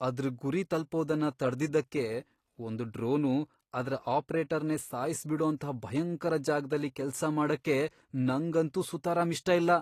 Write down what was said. ಅದ್ರ್ ಗುರಿ ತಲ್ಪೋದನ್ನ ತಡ್ದಿದ್ದಕ್ಕೆ ಒಂದ್ ಡ್ರೋನು ಅದ್ರ ಆಪ್ರೇಟರ್ನೇ ಸಾಯ್ಸ್ಬಿಡೋಂಥ ಭಯಂಕರ ಜಾಗ್ದಲ್ಲಿ ಕೆಲ್ಸ ಮಾಡಕ್ಕೆ ನಂಗಂತೂ ಸುತರಾಂ ಇಷ್ಟ ಇಲ್ಲ.